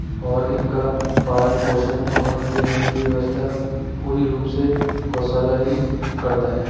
और इनका पालन पोषण और इनके रहने की व्यवस्था पूरी रूप से गोशाला ही करता है।